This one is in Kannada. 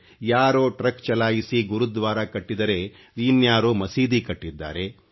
ಯಾರೋ ಟ್ರಕ್ ಚಲಾಯಿಸಿ ಗುರುದ್ವಾರಾ ಕಟ್ಟಿದರೆ ಇನ್ಯಾರೋ ಮಸೀದಿ ಕಟ್ಟಿದ್ದಾರೆ